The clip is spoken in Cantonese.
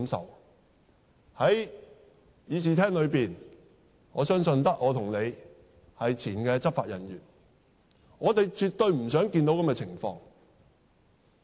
在這個議事廳中，我相信只有我和你是前執法人員，我們絕對不想看到這情況。